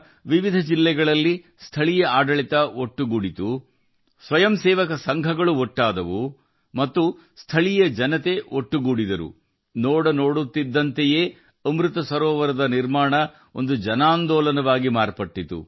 ಅದರ ನಂತರ ಸ್ಥಳೀಯ ಆಡಳಿತವು ವಿವಿಧ ಜಿಲ್ಲೆಗಳಲ್ಲಿ ಸಕ್ರಿಯವಾಯಿತು ಸ್ವಯಂಸೇವಾ ಸಂಸ್ಥೆಗಳು ಒಗ್ಗೂಡಿದವು ಮತ್ತು ಸ್ಥಳೀಯ ಜನರು ಪರಸ್ಪರ ಸಂಪರ್ಕ ಸಾಧಿಸಿದರು ಮತ್ತು ಅಮೃತ್ ಸರೋವರಗಳ ನಿರ್ಮಾಣ ಒಂದು ಜನಾಂದೋಲನವಾಯಿತು